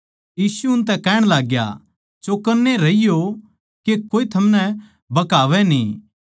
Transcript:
यीशु उनतै कहण लाग्या चौकन्ने रहियो के कोए थमनै भकावै न्ही